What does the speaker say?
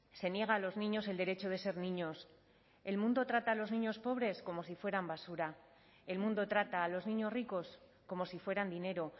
se niega a los niños el derecho de ser niños el mundo trata a los niños pobres como si fueran basura el mundo trata a los niños ricos como si fueran dinero